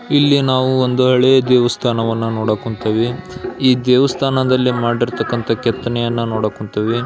ಇಲ್ಲಿ ನಾವು ಒಂದು ಹಳೆಯ ದೇವಸ್ಥಾನವನ್ನು ನೋಡಕ್ ಹೊಂಥಿವಿ. ಈ ದೇವಸ್ಥಾನದಲ್ಲಿ ಮಾಡಿರ್ತಕ್ಕಂಥ ಕೆತ್ತನೆಯನ್ನು ನೋಡಕ್ ಹೊಂಥಿವಿ .